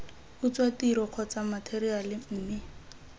utswa tiro kgotsa matheriale mme